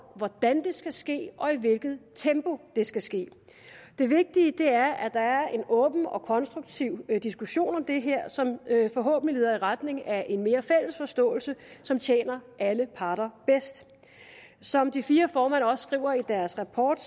hvordan det skal ske og i hvilket tempo det skal ske det vigtige er at der er en åben og konstruktiv diskussion om det her som forhåbentlig leder i retning af en mere fælles forståelse som tjener alle parter bedst som de fire formand også skriver i deres rapport